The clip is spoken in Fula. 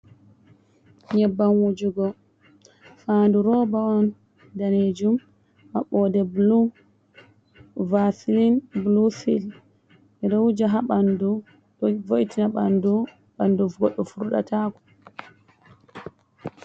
nyebbam wujugo mbandu roba on danejum, maɓɓoɗe bl varsilin blu cel ɓeɗo wuja ha bandu do vo’tina bandu. banduu goddo furdatako.